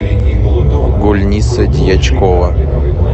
гульниса дьячкова